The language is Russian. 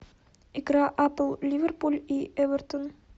игра апл ливерпуль и эвертон